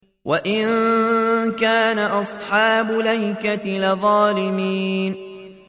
وَإِن كَانَ أَصْحَابُ الْأَيْكَةِ لَظَالِمِينَ